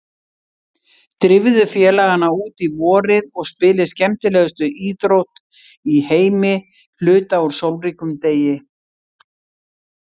Drífðu félagana út í vorið og spilið skemmtilegustu íþrótt í heimi hluta úr sólríkum degi.